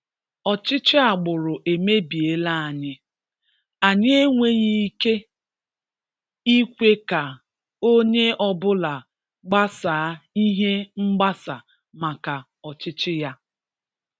Ọchịchị agbụrụ emebiela anyị; anyị enweghị ike ikwe ka onye ọ bụla gbasaa ihe mgbasa maka ọchịchị ya.